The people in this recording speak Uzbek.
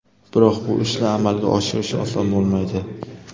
Biroq bu ishni amalga oshirish oson bo‘lmaydi.